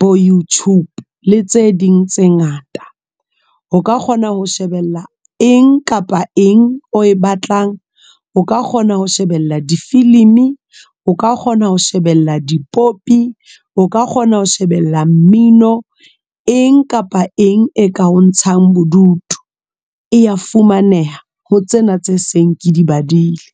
bo YouTube le tse ding tse ngata. O ka kgona ho shebella eng kapa eng o e batlang o ka kgona ho shebella difilimi, o ka kgona ho shebella dipopi, o ka kgona ho shebella mmino eng kapa eng e ka o ntshang bodutu. E ya fumaneha ho tsena tse seng ke di badile.